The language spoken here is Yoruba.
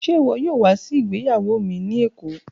Ṣe iwọ yoo wa si igbeyawo mi ni Eko?